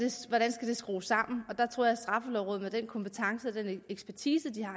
skrues sammen og der tror jeg at straffelovrådet med den kompetence og den ekspertise de har